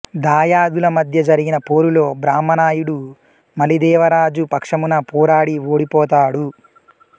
దాయాదుల మధ్య జరిగిన పోరులో బ్రహ్మ నాయుడు మలిదేవరాజు పక్షమున పోరాడి ఓడిపోతాడు